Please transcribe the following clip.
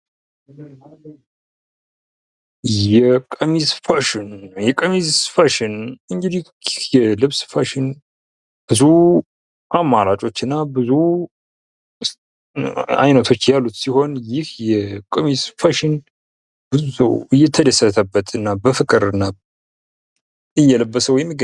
የቀሚስ ፋሽን እንግዲህ ይህ የልብስ ፋሽን ብዙ አማራጮችና ብዙ ዐይነቶች ያሉት ሲሆን ይህ የቀሚስ ፋሽን ብዙ ሰው እየተደሰተበትና እየለበሰው የሚገኝው ነው።